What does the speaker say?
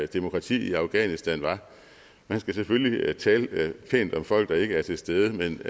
demokrati i afghanistan var man skal selvfølgelig tale pænt om folk der ikke er til stede men